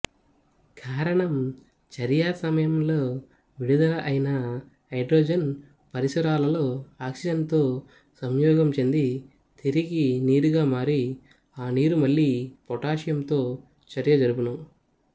కారణం చర్యాసమయంలో విడుదల అయిన హైడ్రోజను పరిసరాలలో ఆక్సిజనుతో సంయోగంచెంది తిరిగి నీరుగామారి ఆనీరు మళ్ళి పొటాషియంతో చర్య జరుపును